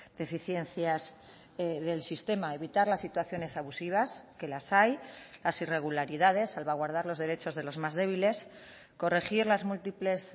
deficiencias del sistema evitar las situaciones abusivas que las hay las irregularidades salvaguardar los derechos de los más débiles corregir las múltiples